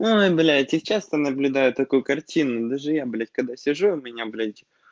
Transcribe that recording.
ой блять я часто наблюдаю такую картину даже я блять когда сижу у меня блять